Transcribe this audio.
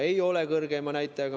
Ei ole kõrgeima näitajaga.